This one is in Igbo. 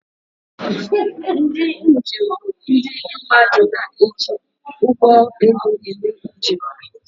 Ndị njem bụ ndị mmadụ na-eji ụgbọ elu eme njem.